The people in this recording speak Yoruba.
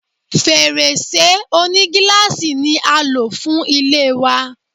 Fèrèsé onígíláàsì ni a lò fún ilé wa.